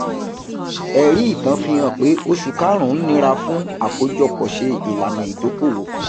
ẹrí itan fi hàn pé oṣù karun nira fún akojopo ṣe ilana idokoowo